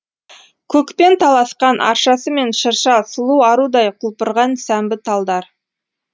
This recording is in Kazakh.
көкпен таласқан аршасы мен шырша сұлу арудай құлпырған сәмбі талдар